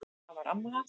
Það var amma hans